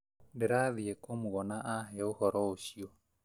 Ndirathiĩ kũmũona ahe ũhoro ũcio